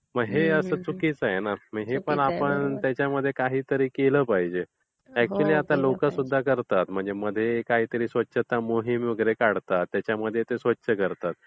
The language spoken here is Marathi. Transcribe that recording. मग हे असं चुकीचं आहे ना? हे म्हणजे आपण त्याच्यामध्ये काहीतरी केलं पाहिजे. अकचुयली आता लोकं सुद्धा करतात मध्ये मध्ये काही स्वच्छता मोहीम काढतात. त्याच्यामध्ये ते स्वच्छ करतात.